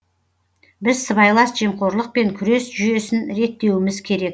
біз сыбайлас жемқорлықпен күрес жүйесін реттеуіміз керек